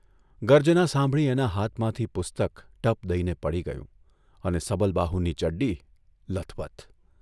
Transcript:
ગર્જના સાંભળી એના હાથમાંથી પુસ્તક ટપ દઇને પડી ગયું અને સબલબાહુની ચડ્ડી લથબથ !